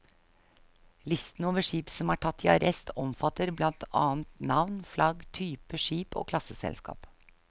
Listen over skip som er tatt i arrest omfatter blant annet navn, flagg, type skip og klasseselskap.